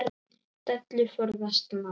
Dellu forðast má.